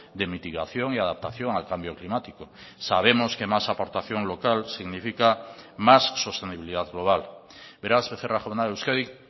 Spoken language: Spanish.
de mitigación y adaptación al cambio climático sabemos que más aportación local significa más sostenibilidad global beraz becerra jauna euskadik